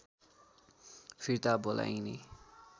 फिर्ता बोलाइने